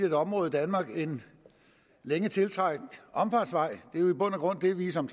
et område i danmark en længe tiltrængt omfartsvej det vi som